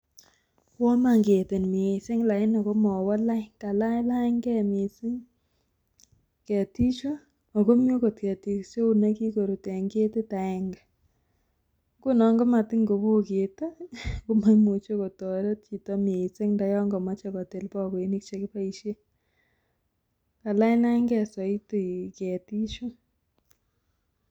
Woo iman ketik miising laini komowo lain kalanylanynge mising ketichu akomii akot ketit iso neu nekikorut en ketit aenge, ngunon motingowo ketii komoimuche kotoret chito mising ndoyon komoche kotil bokoinik chekiboisien kalanylanynge soiti ketichu.